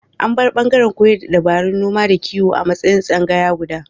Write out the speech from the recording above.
An bar ɓangaren koyar da dabarun noma da kiwo a matsayin tsangaya guda.